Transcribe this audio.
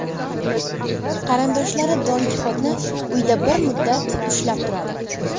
Qarindoshlari Don Kixotni uyda bir muddat ushlab turadi.